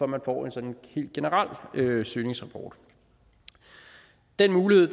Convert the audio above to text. man får en sådan helt generel søgningsrapport den mulighed